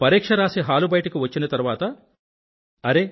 పరీక్ష రాసి హాలు బయటకు వచ్చిన తరువాత అరే